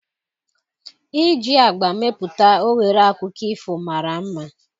Iji agba mepụta oghere akụkọ ifo mara mma